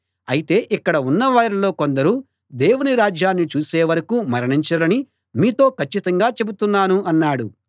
అయితే ఇక్కడ ఉన్నవారిలో కొందరు దేవుని రాజ్యాన్ని చూసే వరకూ మరణించరని మీతో కచ్చితంగా చెబుతున్నాను అన్నాడు